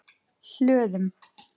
Hlöðum